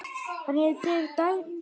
Hann er þegar dæmdur.